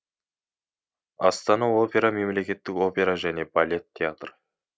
астана опера мемлекеттік опера және балет театры